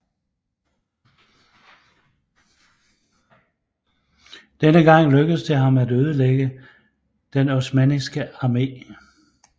Denne gang lykkedes det ham at ødelægge den osmanniske armé